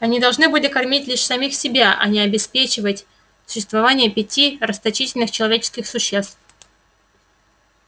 они должны были кормить лишь самих себя а не обеспечивать существование пяти расточительных человеческих существ